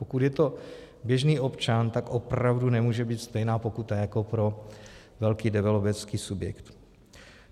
Pokud je to běžný občan, tak opravdu nemůže být stejná pokutu jako pro velký developerský subjekt.